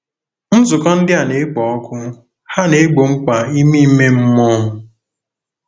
Nzukọ ndị a na-ekpo ọkụ, ha na-egbo mkpa ime ime mmụọ m.